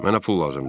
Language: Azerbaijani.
Mənə pul lazımdır.